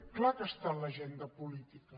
és clar que està a l’agenda política